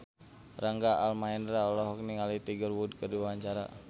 Rangga Almahendra olohok ningali Tiger Wood keur diwawancara